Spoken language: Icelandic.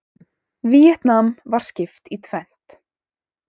Víetnam var skipt í tvennt.